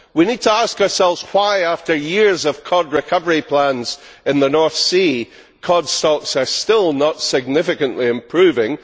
We need to ask ourselves why, after years of cod recovery plans in the North Sea, cod stocks are still not significantly improving.